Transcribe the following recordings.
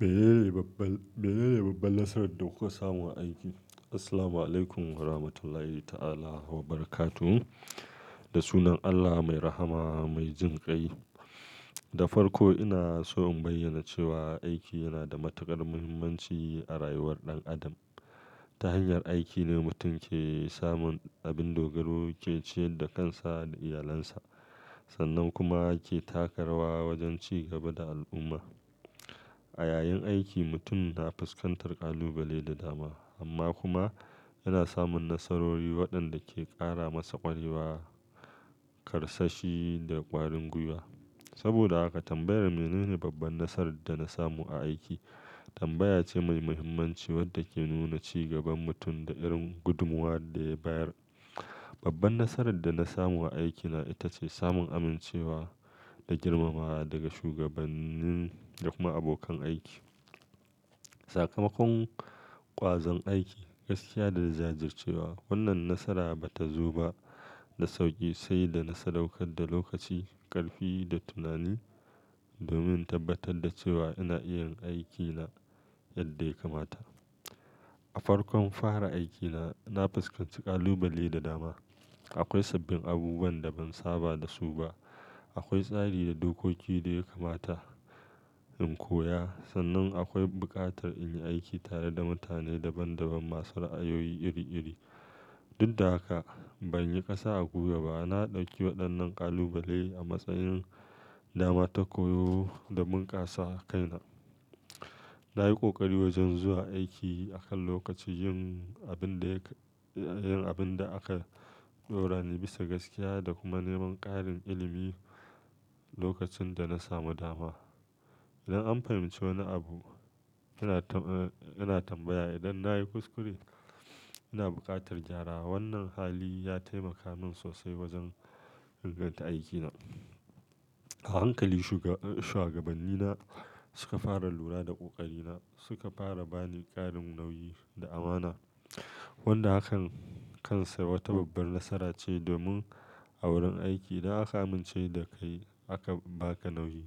Meye babban, meye babban nasarar da kuka samu a aiki? Assalamualaikum warahmatullahi ta'ala wabarakatuh. Da sunan Allah mai rahama mai jin kai. Da farko ina so in bayyana cewa aiki yana da matuƙar muhimmanci a rayuwar ɗan adam. Ta hanyar aiki ne mutum ke samun abin dogaro ke ciyar da kansa da iyalansa, sannan kuma ke taka rawa wajen ci gaba da al'umma. A yayin aiki mutum na fuskantar ƙalubale da dama, amma kuma yana samun nasarori waɗanda ke ƙara masa ƙwarewa, karsashi da ƙwarin gwiwa. Saboda haka tambayar me nene babban nasarar da na samu a aiki tambaya ce mai muhimmanci wadda ke nuna ci gaban mutum da irin gudumwar da ya bayar. Babban nasarar da na samu a aikina ita ce samun amincewa da girmamawa daga shugabanni da kuma abokan aiki. Sakamakon ƙwazon aiki, gaskiya da jajircewa. Wannan nasara ba ta zo ba da sauƙi, sai da na sadaukar da lokaci, ƙarfi da tunani domin tabbatar da cewa ina iya yin aikina yadda ya kamata. A farkon fara aikina, na fuskanci ƙalubale da dama. Akwai sabbin abubuwan da ban saba da su ba, akwai tsari da dokoki da ya kamata in koya, sannan akwai buƙatar in yi aiki tare da mutane daban-daban masu ra'ayoyi iri-iri. Duk da haka ban yi ƙasa a guba ba. Na ɗauki waɗannan ƙalubale a matsayin dama ta koyo da bunƙasa kaina. Na yi ƙoƙari wajen zuwa aiki a kan lokaci, yin abin da aka ɗaura ni bisa gaskiya, da kuma neman ƙarin ilimi lokacin da na samu dama. Idan an fahimci wani abu, ina tambaya. Idan na yi kuskure, ina buƙatar gyara. Wannan hali ya taimaka min sosai wajen inganta aikina. A hankali shugaba, shuagabannina suka fara lura da ƙoƙarina, suka fara bani ƙarin nauyi da amana, wanda a kan kansa wata babbar nasara ce domin a wurin aiki idan aka amince da kai aka ba ka nauyi,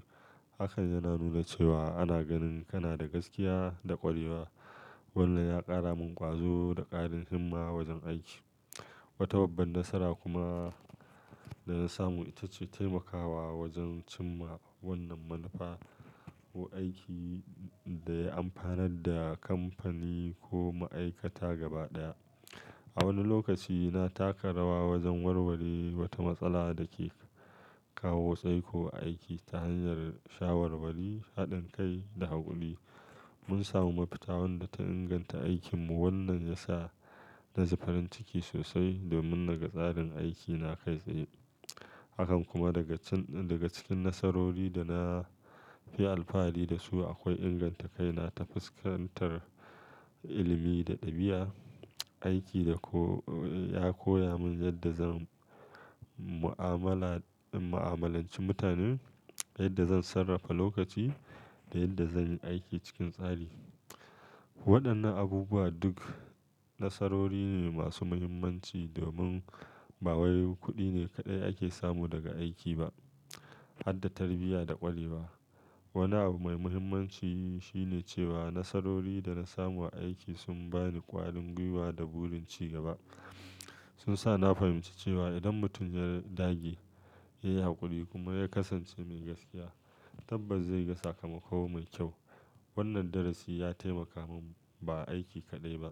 hakan yana nuna cewa ana ganin kana da gaskiya da ƙwarewa. Wannan ya ƙara min ƙwazo da ƙarin himma wajen aiki. Wata babbar nasara kuma da na samu ita ce taimakawa wajen cimma wannan manufa aiki da ya amfanar da kamfani ko ma'aikata gaba ɗaya. A wani lokaci na taka rawa wajen warware wata matsala da ke kawo tsaiko a aiki. Ta hanyar shawarwari, haɗin kai da haƙuri mun samu mafita wadda ta inganta aikinmu. Wannan ya sa na ji farin ciki sosai domin naga tsarin aiki na kai tsaye. Hakan kuma daga cikin, daga cikin nasarori da na fi alfahari da su akwai inganta kaina ta fuskantar ilimi da ɗabi'a. Aiki da ko ya koya min yadda zan mu'amalanci mutanen, yadda zan sarrafa lokaci da yadda zan yi aiki cikin tsari. Waɗannan abubuwa duk nasarori ne masu muhimmanci domin ba wai kuɗi ne kaɗai ake samu daga aiki ba har da tarbiyya da ƙwarewa. Wani abu mai muhimmanci shi ne cewa nasarori da na samu a aiki sun bani ƙwarin gwiwa da burin ci gaba. Sun sa na fahimci cewa idan mutum ya dage, ya yi haƙuri kuma ya kasance mai gaskiya, tabbas zai ga sakamako mai kyau. Wannan darasi ya taimaka min ba aiki kaɗai ba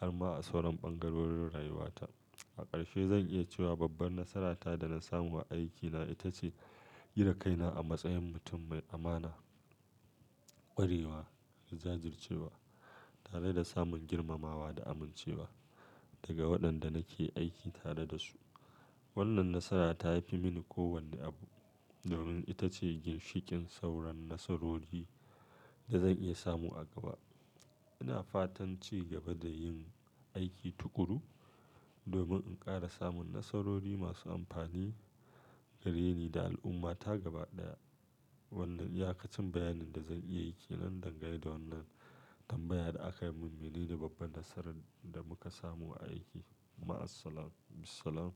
har ma a sauran ɓangarorin rayuwata. A ƙarshe zan iya cewa babbar nasarata da na samu a aikina ita ce kira kaina a matsayin mutum mai amana, ƙwarewa, jajircewa tare da samun girmamawa da amincewa daga waɗanda nake aiki tare da su. Wannan nasara ta fi mini kowane abu domin ita ce ginshiƙin sauran nasarori da zan iya samu a gaba. Ina fatan ci gaba da yin aiki tukuru domin in ƙara samun nasarori masu amfani ga rini da al'umma ta gaba ɗaya. Wannan yakacin bayanin da zan iya yi ke nan dangane da wannan tambayar da aka yi. Mene ne babbar nasarar da muka samu a aiki? Ma'assalam. Bisalam.